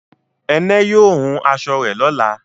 Ẹnẹ yóò hún aṣọ rẹ̀ lọ́lá